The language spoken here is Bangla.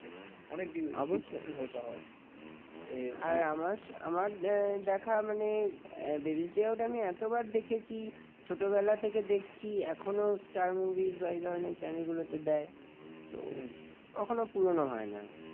ছোটবেলা থেকে দেখছি এখনো star movies বা এধরনের channel গুলোতে দেয় তো কখনো পুরানো হয় না।